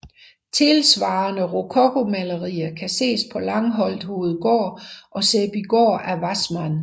Tilsvarende rokokomalerier kan ses på Langholt Hovedgård og Sæbygård af Wassmann